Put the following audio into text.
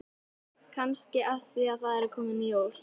Kannski af því að það eru að koma jól.